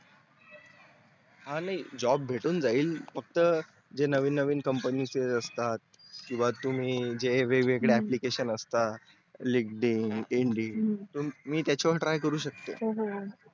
हा नाही job भेटून जाइल फक्त ज्या नवीन नवीन companies येत असतात किंवा तुम्ही जे वेग वेगळे application असतात linkedin त्याच्यावरून try करू शकते